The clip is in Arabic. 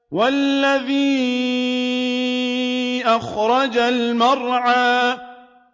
وَالَّذِي أَخْرَجَ الْمَرْعَىٰ